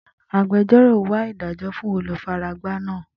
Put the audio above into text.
Agbẹjọ́rò wa idajọ fun olufaragba naa.